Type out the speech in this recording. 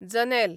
जनेल